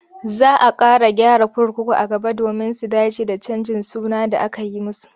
Za a ƙara gyara kurkuku a gaba domin su dace da canjin suna da aka yi musu.